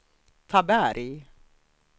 Taberg